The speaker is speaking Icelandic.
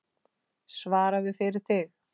Svaraðu fyrir þig!